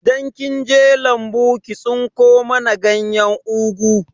Idan kinje lambu ki tsinko mana ganyen ugu